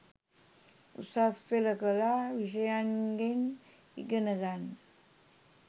උසස් පෙළ කලා විෂයන්ගෙන් ඉගෙන ගන්න